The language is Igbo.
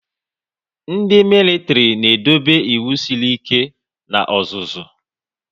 Ndị militiri na edobe ịwụ sịrị ike na ọzụzụ